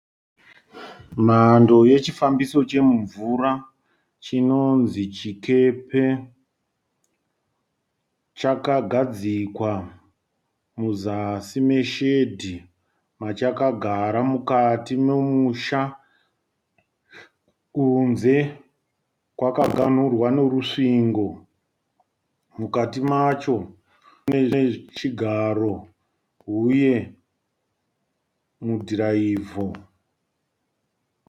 Mhando yechifambiso chomumvura chinonzi chikepe. Chakagadzikwa muzasi meshedhi machakagara mukati memusha. Kunze kwakaganhurwa nerusvingo. Mukati macho mune chigaro uye mudhiraivho.